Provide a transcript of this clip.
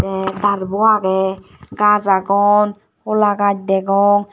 tey darbo aagey gaj agon hola gaj degong.